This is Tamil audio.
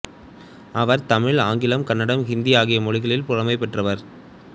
அவர் தமிழ் ஆங்கிலம் கன்னடம் ஹிந்தி ஆகிய மொழிகளில் புலமை பெற்றவர்